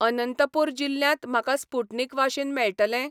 अनंतपूर जिल्ल्यांत म्हाका स्पुटनिक वाशीन मेळटलें?